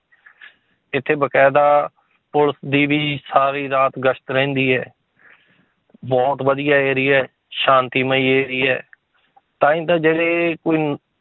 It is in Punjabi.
ਇੱਥੇ ਬਕਾਇਦਾ ਪੁਲਿਸ ਦੀ ਵੀ ਸਾਰੀ ਰਾਤ ਗਸ਼ਤ ਰਹਿੰਦੀ ਹੈ ਬਹੁਤ ਵਧੀਆ area ਹੈ ਸ਼ਾਂਤੀਮਈ area ਹੈ ਤਾਂਹੀ ਤਾਂ ਜਿਹੜੇ